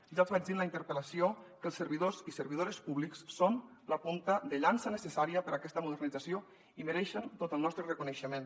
ja els vaig dir en la interpel·lació que els servidors i servidores públics són la punta de llança necessària per a aquesta modernització i mereixen tot el nostre reconeixement